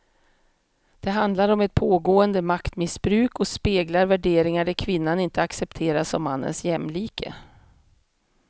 Det handlar om ett pågående maktmissbruk och speglar värderingar där kvinnan inte accepteras som mannens jämlike.